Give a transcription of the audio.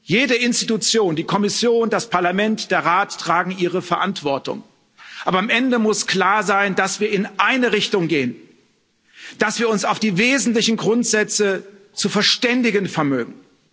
Jede Institution die Kommission, das Parlament, der Rat trägt ihre Verantwortung, aber am Ende muss klar sein, dass wir in eine Richtung gehen, dass wir uns auf die wesentlichen Grundsätze zu verständigen vermögen.